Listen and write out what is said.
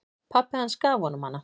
Pabbi hans gaf honum hana.